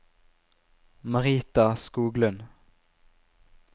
Marita Skoglund